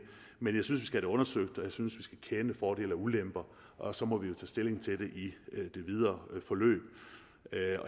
men jeg synes vi skal have det undersøgt og jeg synes vi skal kende fordele og ulemper og så må vi jo tage stilling til det i det videre forløb